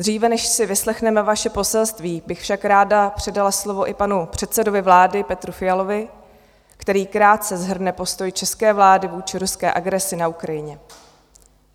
Dříve, než si vyslechneme vaše poselství, bych však ráda předala slovo i panu předsedovi vlády Petru Fialovi, který krátce shrne postoj české vlády vůči ruské agresi na Ukrajině.